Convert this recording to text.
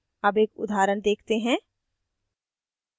अब एक उदाहरण देखते हैं